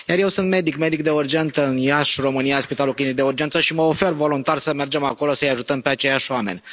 Eu sunt medic, medic de urgență în Iași, România, Spitalul Clinic de Urgență, și mă ofer voluntar să mergem acolo să i ajutăm pe aceiași oameni.